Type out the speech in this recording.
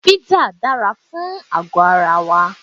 Písà dára fún ara wa.